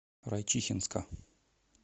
райчихинска